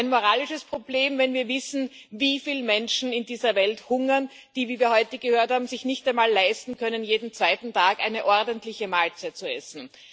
Ein moralisches Problem, wenn wir wissen, wie viele Menschen in dieser Welt hungern, die, wie wir heute gehört haben, es sich nicht einmal leisten können, jeden zweiten Tag eine ordentliche Mahlzeit zu essen.